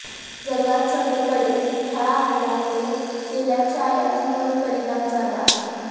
जगात सगळीकडेच ह्या हल्ल्यामुळे तेलाच्या आयातीवर परिणाम झाला आहे